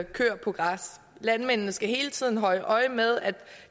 køer på græs landmændene skal hele tiden holde øje med at